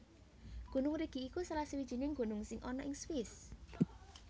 Gunung Rigi iku salah sawijining gunung sing ana ing Swiss